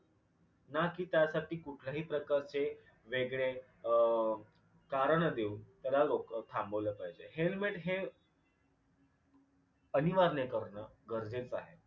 ना कि त्यासाठी कुठल्याही प्रकारचे वेगळे अं कारण देऊन त्याला लोक थांबवल पाहिजे. हेल्मेट हे अनिवार्य करण गरजेच आहे.